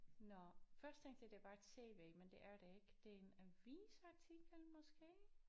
Nåh første ting jeg ser det er bare et TV men det er det ikke det er en avisartikel måske